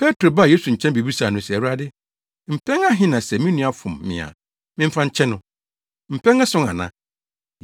Petro baa Yesu nkyɛn bebisaa no se, “Awurade, mpɛn ahe na sɛ me nua fom me a memfa nkyɛ no? Mpɛn ason ana?”